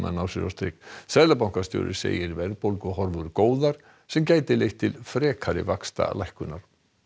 ná sér á strik seðlabankastjóri segir verðbólguhorfur góðar sem gæti leitt til frekari vaxtalækkunar